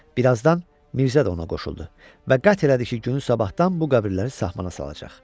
Birazdan Mirzə də ona qoşuldu və qət elədi ki, günü sabahdan bu qəbirləri sahmana salacaq.